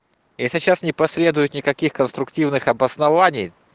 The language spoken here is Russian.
если сейчас не последует никаких конструктивных обоснований